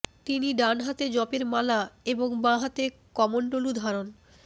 তিনি ডান হাতে জপের মালা এবং বাঁ হাতে কমণ্ডলু ধারণ